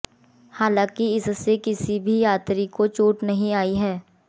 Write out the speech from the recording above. हालांकि इसमें किसी भी यात्री को चोट नहीं आई है